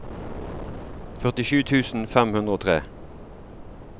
førtisju tusen fem hundre og tre